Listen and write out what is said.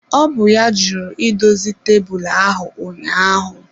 Ọ bụ ya jụrụ idozi tebụl ahụ ụnyaahụ.